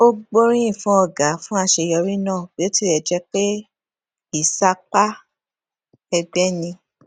ó gboriyin fun ọga fún àṣeyọrí náà bí ó tilẹ jẹ pé ìsapá ẹgbẹ ni